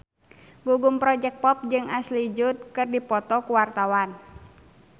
Gugum Project Pop jeung Ashley Judd keur dipoto ku wartawan